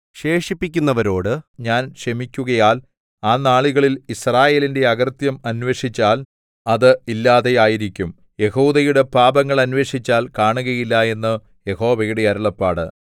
ശേഷിപ്പിക്കുന്നവരോട് ഞാൻ ക്ഷമിക്കുകയാൽ ആ നാളുകളിൽ യിസ്രായേലിന്റെ അകൃത്യം അന്വേഷിച്ചാൽ അത് ഇല്ലാതെ ആയിരിക്കും യെഹൂദയുടെ പാപങ്ങൾ അന്വേഷിച്ചാൽ കാണുകയില്ല എന്ന് യഹോവയുടെ അരുളപ്പാട്